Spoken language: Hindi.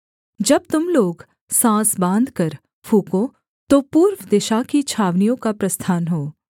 जब तुम लोग साँस बाँधकर फूँको तो पूर्व दिशा की छावनियों का प्रस्थान हो